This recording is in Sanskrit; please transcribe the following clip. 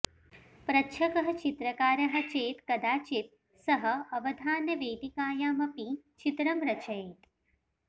प्रच्छकः चित्रकारः चेत् कदाचित् सः अवधानवेदिकायाम् अपि चित्रं रचयेत्